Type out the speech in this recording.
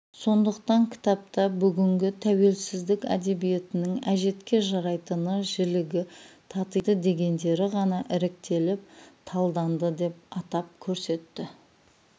сондықтан кітапта бүгінгі тәуелсіздік әдебиетінің әжетке жарайтыны жілігі татиды дегендері ғана іріктеліп талданды деп атап көрсетеді